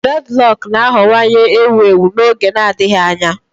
Dreadlock na-aghọwanye ewu ewu n'oge na-adịbeghị anya.